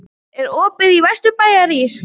Sigurveig, er opið í Vesturbæjarís?